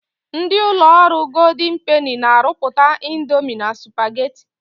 Ndị ụlọ ọrụ Goldin Peni na-arụpụta indomi na supageti.